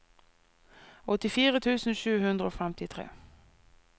åttifire tusen sju hundre og femtitre